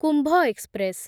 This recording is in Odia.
କୁମ୍ଭ ଏକ୍ସପ୍ରେସ୍